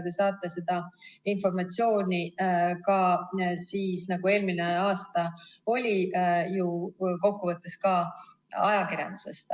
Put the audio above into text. Te saate seda informatsiooni ka siis, nagu eelmine aasta oli, ju kokkuvõttes ka ajakirjandusest.